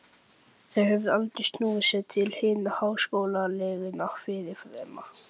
Þeir höfðu aldrei snúið sér til hinna háskólagengnu fyrirrennara minna.